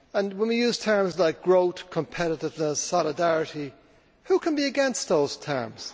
When we use terms like growth, competitiveness, solidarity who can be against those terms?